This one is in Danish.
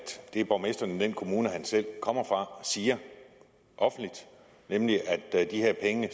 det borgmesteren i den kommune han selv kommer fra siger nemlig at de her penge